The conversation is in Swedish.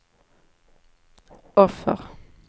offer